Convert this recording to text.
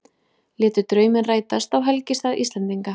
Létu drauminn rætast á helgistað Íslendinga